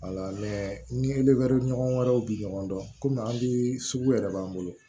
ni ɲɔgɔn wɛrɛw bi ɲɔgɔn dɔn an bi sugu yɛrɛ b'an bolo